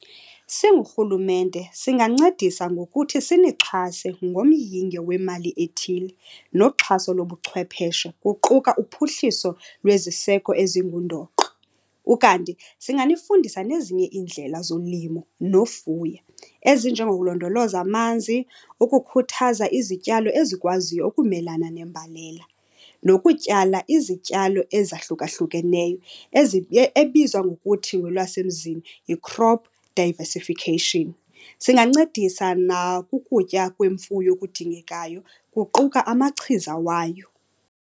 Singurhulumente singancedisa ngokuthi sinixhase ngomyinge wemali ethile noxhaso lobuchwepeshe kuquka uphuhliso lweziseko ezingundoqo. Ukanti singanifundisa nezinye iindlela zolimo nofuya ezinjengokulondoloza amanzi, ukukhuthaza izityalo ezikwaziyo ukumelana nembalela nokutyala izityalo ezahlukahlukeneyo ebizwa ngokuthi ngolwasemzini yi-crop diversification. Singancedisa nakukutya kwemfuyo okudingekayo, kuquka amachiza wayo.